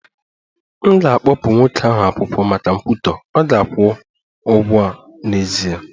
M ga-akpụpụ nwoke ahụ akwụkwọ maka nkwutọ, ọ ga-akwụ ụgwọ n'ezie